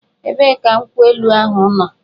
Ebee ka nkwụ elu ahụ nọ?